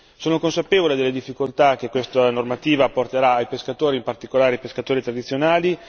Sono consapevole delle difficoltà che questa normativa porterà ai pescatori, in particolare ai pescatori tradizionali.